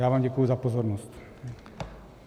Já vám děkuji za pozornost.